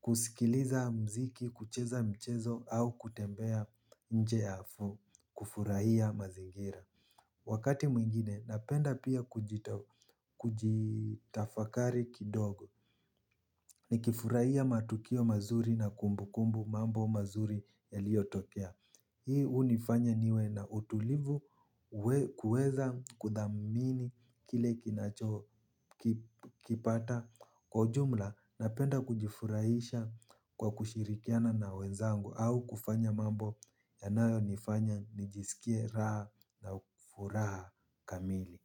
kusikiliza muziki, kucheza mchezo au kutembea nje ya afuu kufurahia mazingira. Wakati mwingine napenda pia kujitafakari kidogo. Nikifurahia matukio mazuri na kumbukumbu, mambo mazuri yaliyotokea. Hii hunifanya niwe na utulivu kuweza kuthamini kile kinacho kipata. Kwa ujumla napenda kujifurahisha kwa kushirikiana na wenzangu au kufanya mambo yanayo nifanya nijisikie raha na furaha kamili.